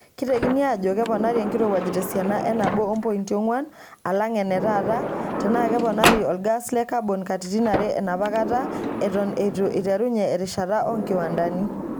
Keitekini aajo keponari enkirowuaj tesiana e nabo oo mpointo onwan alang enetaata tenaa keponari olgas le kabon katitn are enapakata eton eitu eiterunye erishata oo nkiwandani.[long sentence]